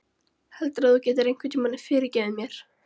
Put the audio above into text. Heldurðu að þú getir einhvern tíma fyrirgefið mér?